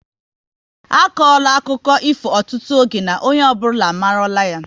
A kora akụkọ ifo ọtụtụ oge na onye ọbụla amarula ya